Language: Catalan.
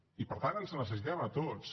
i per tant ens necessitem a tots